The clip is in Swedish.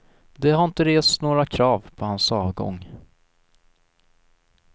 Det har inte rests några krav på hans avgång.